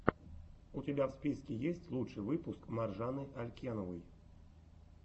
у тебя в списке есть лучший выпуск маржаны алькеновой